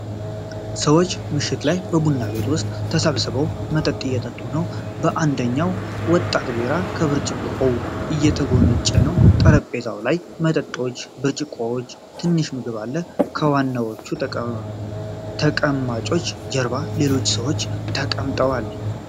ሰዎች ምሽት ላይ በቡና ቤት ውስጥ ተሰብስበው መጠጥ እየጠጡ ነው። አንደኛው ወጣት ቢራ ከብርጭቆው እየጎነጨ ነው። ጠረጴዛው ላይ መጠጦች፣ ብርጭቆዎችና ትንሽ ምግብ አለ። ከዋናዎቹ ተቀማጮች ጀርባ ሌሎች ሰዎችም ተቀምጠዋል።